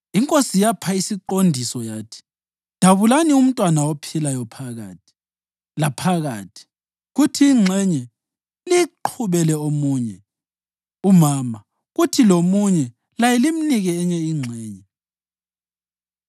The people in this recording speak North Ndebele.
Inkosi yapha isiqondiso yathi, “Dabulani umntwana ophilayo phakathi laphakathi kuthi ingxenye liyiqhubele omunye umama kuthi lomunye laye limnike enye ingxenye.”